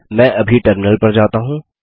मैं अभी टर्मिनल पर जाता हूँ